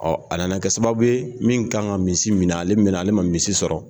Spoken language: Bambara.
a nana kɛ sababu ye min kan ka misi minɛ ale mɛnna ale ma misi sɔrɔ